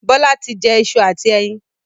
Bọlá tí jẹ ìṣù àti ẹyin